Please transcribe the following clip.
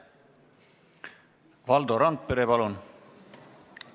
Valdo Randpere, palun!